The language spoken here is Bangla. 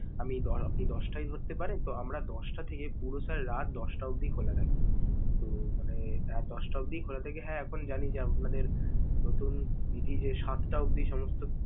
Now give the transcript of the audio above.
আমি ধর~ আপনি ওই দশটায় ধরতে পারেন, তো আমরা দশটা থেকে পুরো sir রাত দশটা অব্দি খোলা থাকে. তো মানে, রাত দশটা অব্দি খোলা থাকে, হ্যা এখন জানি যে আপনাদের নতুন বিধি যে সাতটা অব্দি সমস্ত।